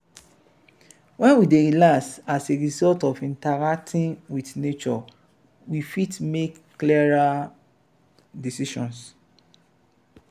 when we dey relaxed as a result of interacting with nature we fit make clearer decisions